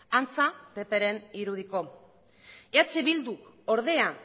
antza ppren irudiko eh bilduk ordea